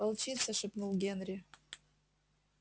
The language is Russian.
волчица шепнул генри